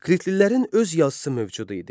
Kritlilərin öz yazısı mövcud idi.